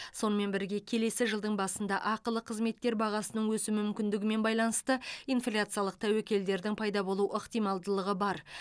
сонымен бірге келесі жылдың басында ақылы қызметтер бағасының өсу мүмкіндігімен байланысты инфляциялық тәуекелдердің пайда болу ықтималдылығы бар